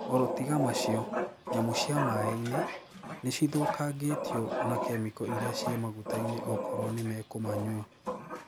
Oro tiga macio, nyamũ cia mae-ini, nicithukagitwo na kemiko iria cie maguta-ini okorwo ni mekũmanywa.